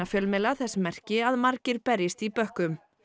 fjölmiðla þess merki að margir berjist í bökkum